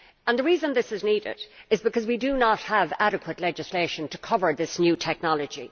The reason this is needed is because we do not have adequate legislation to cover this new technology.